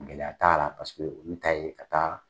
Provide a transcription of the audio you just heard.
Gɛlɛya taala paseke olu ta ye ka taa.